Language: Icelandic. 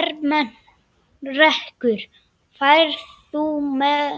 Ermenrekur, ferð þú með